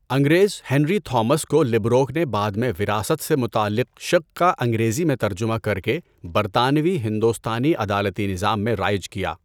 انگریز Henry Thomas Colebrooke نے بعد میں وراثت سے متعلق شق کا انگریزی میں ترجمہ کرکے برطانوی ہندوستانی عدالتی نظام میں رائج کیا۔